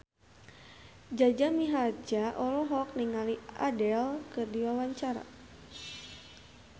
Jaja Mihardja olohok ningali Adele keur diwawancara